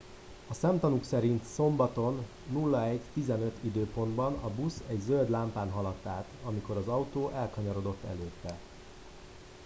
a szemtanúk szerint szombaton 01:15 időpontban a busz egy zöld lámpán haladt át amikor az autó elkanyarodott előtte